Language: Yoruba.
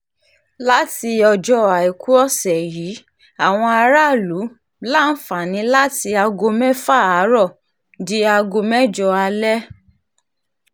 láti ọjọ́ àìkú ọ̀sẹ̀ yìí àwọn aráàlú láǹfààní láti aago mẹ́fà àárọ̀ di aago mẹ́jọ alẹ́